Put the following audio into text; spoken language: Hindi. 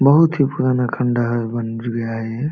बहुत ही पुराना खंडर है बाउंड्री हेय इ।